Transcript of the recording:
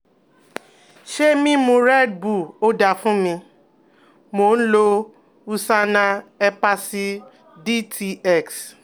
Se mimu redbull o da fun mi? Mo n lo USANA Hepasil DTX